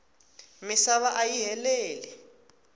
misava ayi heleli